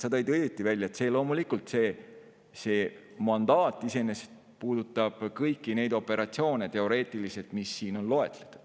Sa ütlesid õigesti, loomulikult, see mandaat iseenesest puudutab kõiki neid operatsioone, mis on siin loetletud.